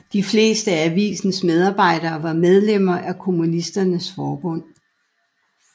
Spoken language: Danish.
De fleste af avisens medarbejdere var medlemmer af Kommunisternes forbund